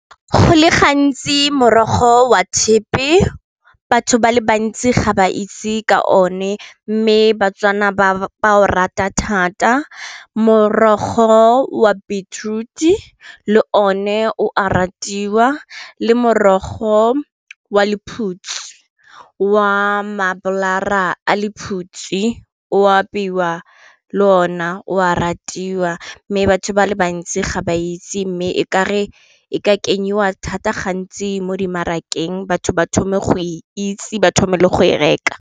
Go le gantsi morogo wa thepe batho ba le bantsi ga ba itse ka one mme baTswana ba o rata thata, morogo wa beetroot-e le one o a ratiwa le morogo wa lephutsi wa mabolara a lephutsi o apeiwa le ona o a ratiwa mme batho ba le bantsi ga ba itse mme e kare e ka kenyiwa thata gantsi mo di marakeng batho ba thome go itse ba thome le go e reka.